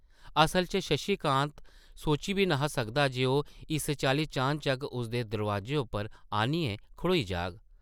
असला च शशि कांत सोची बी न’हा सकदा जे ओह् इस चाल्ली चानचक्क उसदे दरोआजे उप्पर आनियै खड़ोई जाह्ग ।